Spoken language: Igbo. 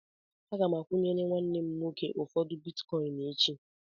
Aga m akwụnyere nwanne m nwoke ụfọdụ bitkọịn echi.